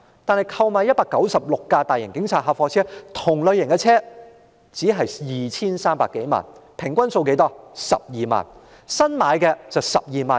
但新置196輛大型警察客貨車，即相同類型的車輛，只需花費 2,300 多萬元，平均是12萬元一輛。